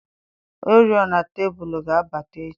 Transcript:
oriọna tebụl ga-abata echi.